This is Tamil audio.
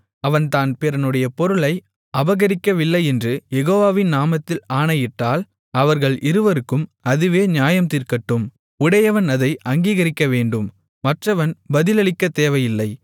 அவன் தான் பிறனுடைய பொருளை அபகரிக்கவில்லையென்று யெகோவாவின் நாமத்தில் ஆணையிட்டால் அவர்கள் இருவருக்கும் அதுவே நியாயம்தீர்க்கட்டும் உடையவன் அதை அங்கீகரிக்கவேண்டும் மற்றவன் பதிலளிக்கத்தேவையில்லை